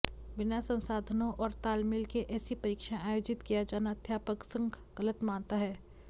बिना संसाधनों और तालमेल के ऐसी परीक्षाएं आयोजित किया जाना अध्यापक संघ गलत मानता है